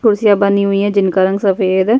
कुर्सियां बनी हुई हैं जिनका रंग सफ़ेद है।